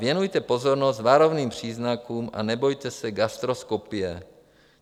Věnujte pozornost varovným příznakům a nebojte se gastroskopie.